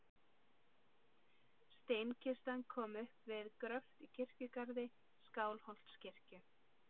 Steinkistan kom upp við gröft í kirkjugarði Skálholtskirkju.